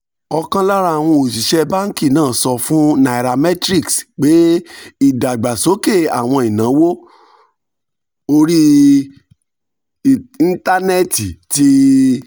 ọ̀kan lára àwọn òṣìṣẹ́ báńkì náà sọ fún nairametrics pé ìdàgbàsókè àwọn ìnáwó orí íńtánẹ́ẹ̀tì ti